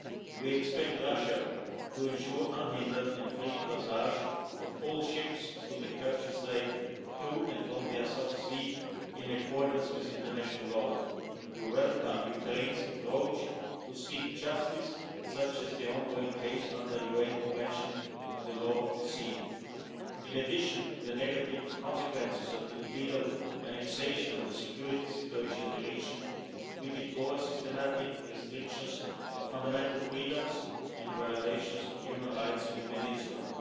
We expect Russia to ensure unhindered and free passage of all ships through the Kerch Strait, to and from the Azov Sea, in accordance with international law. We welcome Ukraine's approach to seeking justice, such as the ongoing case under UN Convention on the Law of the Sea. In addition to the negative consequences of the illegal annexation and the security situation in the region, we deplore systematic restrictions of fundamental freedoms and violations of human rights in the peninsula,